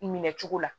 Minɛ cogo la